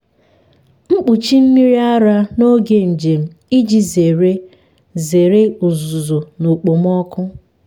m kpuchie mmiri ara n’oge njem iji zere zere uzuzu na okpomọkụ.